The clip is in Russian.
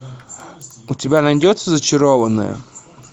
у тебя найдется зачарованные